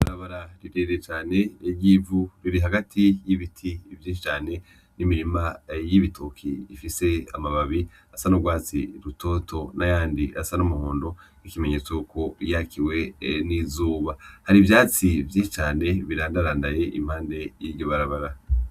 Ibarabara rirerire cane ry'ivu riri hagati y'ibiti vyinshi cane , n'imirima y'ibitoke . Rifise amababi asa n'urwatsi rutoto n'ayandi asa n'umuhondo nk'ikimenyetso yuko yakiwe n'izuba . Har'ivyatsi vyinshi cane birandarandaye impande y'iryo barabara.